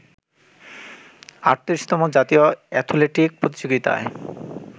৩৮তম জাতীয় অ্যাথলেটিক প্রতিযোগিতায়